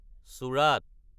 চোৰাত